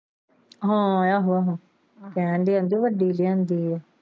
ਹਾਂ ਆਹੋ ਆਹੋ ਕਹਿਣ ਦੇ ਹੀ ਕਿ ਵੱਡੀ ਲਿਆਂਦੀ ਆ।